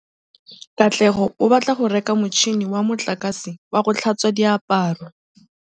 Katlego o batla go reka motšhine wa motlakase wa go tlhatswa diaparo.